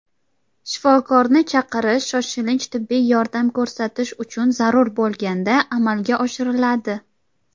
Shifokorni chaqirish shoshilinch tibbiy yordam ko‘rsatish uchun zarur bo‘lganda amalga oshiriladi.